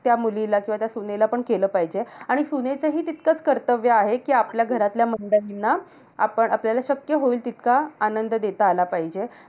त्या मुलीला किंवा त्या सुनेला पण केलं पाहिजे. आणि सुनेचं हि तितकंच कर्तव्य आहे, कि आपल्या घरातल्यांना मंडळींना आपण आपल्याला शक्य होईल तितका आनंद देता आला पाहिजे.